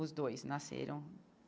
Os dois nasceram.